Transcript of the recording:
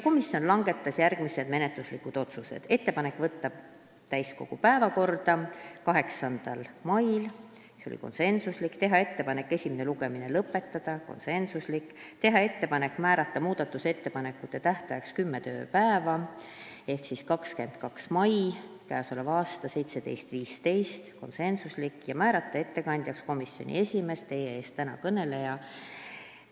Komisjon langetas järgmised menetluslikud otsused: teha ettepanek võtta eelnõu täiskogu päevakorda 8. mail , teha ettepanek esimene lugemine lõpetada , teha ettepanek määrata muudatusettepanekute esitamise tähtajaks kümme tööpäeva ehk 22. mai k.a kell 17.15 ja määrata ettekandjaks komisjoni esimees, täna teie ees kõneleja .